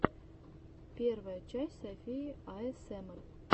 первая часть софии аэсэмар